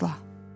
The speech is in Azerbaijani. Əsla.